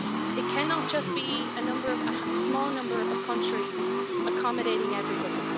It cannot just be a small number of countries accommodating everybody.